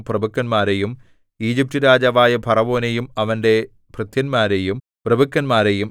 പ്രഭുക്കന്മാരെയും Egypt രാജാവായ ഫറവോനെയും അവന്റെ ഭൃത്യന്മാരെയും പ്രഭുക്കന്മാരെയും